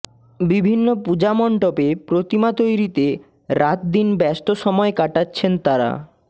বিভিন্ন পূজামণ্ডপে প্রতিমা তৈরিতে রাতদিন ব্যস্ত সময় কাটাচ্ছেন তাঁরা